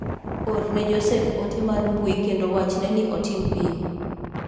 Orne Jospeh ote mar mbui kendo wachne ni otim piyo.